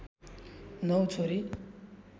नौ छोरी